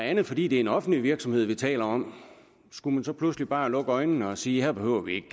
andet fordi det er en offentlig virksomhed vi taler om skulle man så pludselig bare lukke øjnene og sige her behøver vi ikke